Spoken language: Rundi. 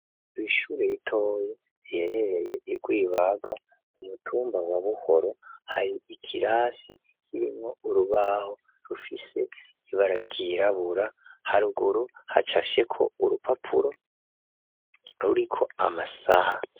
Kw'ishure ritoye riherereye I Rwibaga umutumba wa buhoro hari ikirasi kirimo urubaho rufise ibara ryirabura haruguru hacafyeko urupapuro ruriko amasaha.